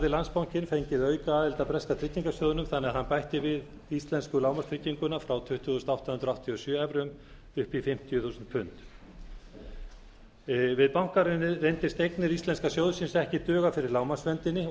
landsbankinn fengið aukaaðild að breska tryggingarsjóðnum þannig að hann bætti við íslensku lágmarkstrygginguna frá tuttugu þúsund átta hundruð áttatíu og sjö evrum upp í fimmtíu þúsund pund við bankahrunið reyndust eignir íslenska sjóðsins ekki duga fyrir lágmarksverndinni og